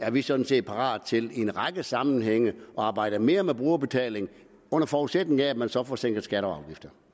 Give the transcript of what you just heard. er vi sådan set parat til i en række sammenhænge at arbejde mere med brugerbetaling under forudsætning af at man så får sænket skatter